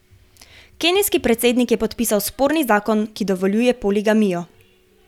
Kenijski predsednik je podpisal sporni zakon, ki dovoljuje poligamijo.